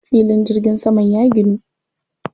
Filin jirgin saman ya ginu.